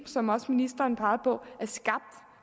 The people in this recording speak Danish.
som også ministeren pegede på er skabt